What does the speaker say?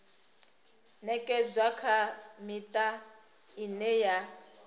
ṅekedzwa kha miṱa ine ya